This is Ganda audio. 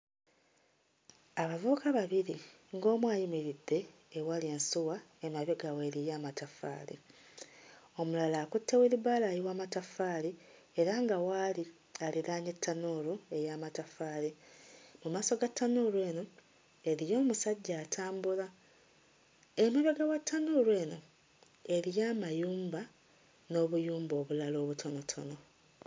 Abavubuka babiri ng'omu ayimiridde ewali ensuwa ng'emabega we eriyo amataffaali, omulala akutte wheelbarrow ayiwa mataffaali era nga w'ali aliraanye ttanuulu ey'amataffaali. Mu maaso ga ttanuulu eno eriyo omusajja atambula. Emabega wa ttanuulu eno eriyo amayumba n'obuyumba obulala obutonotono.